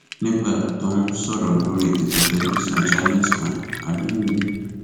nígbà tó ń sọrọ lórí ètò tẹlifíṣàn channels kan aliyu ni